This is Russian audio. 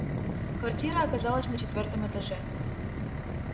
квартира оказалась на четвёртом этаже